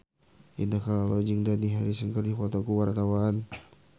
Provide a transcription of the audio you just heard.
Indah Kalalo jeung Dani Harrison keur dipoto ku wartawan